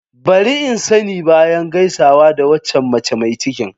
Bari in sani bayan gaisawa da waccan mace mai cikin.